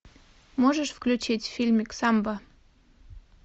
можешь включить фильмик самба